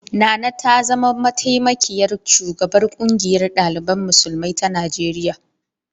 Nana ta zama mataimakiyar shugabar ƙungiyar ɗalibai musulmi ta Najeriya.